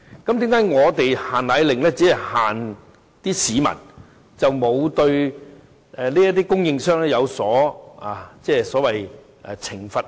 為甚麼"限奶令"只監管市民，卻沒有對供應商作出監管，甚至懲罰？